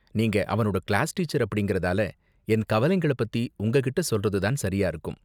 நீங்க அவனோட class teacher அப்படிங்கறதால, என் கவலைங்கள பத்தி உங்ககிட்ட சொல்றது தான் சரியா இருக்கும்.